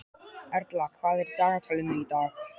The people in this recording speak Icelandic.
Erla, hvað er í dagatalinu í dag?